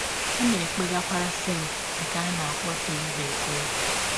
Ọ na - ekpegakwara “ senti ” nke a na - akpọ Theresa ekpere.